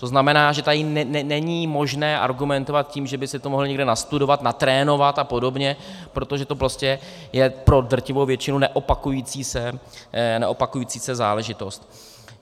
To znamená, že tady není možné argumentovat tím, že by si to mohl někde nastudovat, natrénovat a podobně, protože to prostě je pro drtivou většinu neopakující se záležitost.